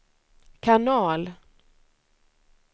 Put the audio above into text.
kanal